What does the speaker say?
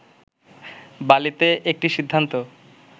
বালিতে একটি সিদ্ধান্ত